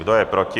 Kdo je proti?